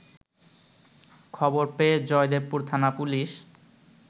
খবর পেয়ে জয়দেবপুর থানা পুলিশ